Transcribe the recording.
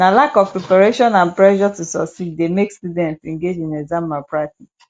na lack of preparation and pressure to succeed dey make students engage in exam malpractice